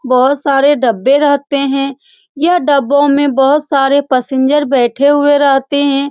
बहुत सारे डब्बे रहते हैं यह डब्बों में बहुत सारे पैसेंजर बैठे हुए रहते हैं।